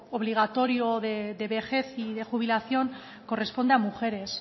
obligatorio de vejez y de jubilación corresponde a mujeres